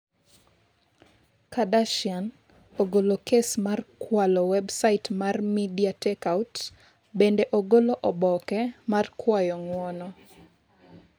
Kardashian ogolo kes mar 'kwalo' Websait mar MediaTakeOut bende ogolo oboke mar kwayo ng'uono.